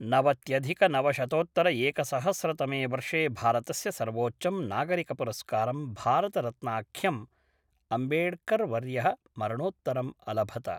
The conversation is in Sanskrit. नवत्यधिकनवशतोत्तरएकसहस्रतमे वर्षे भारतस्य सर्वोच्चं नागरिकपुरस्कारं भारतरत्नाख्यम् अम्बेड्कर्वर्यः मरणोत्तरम् अलभत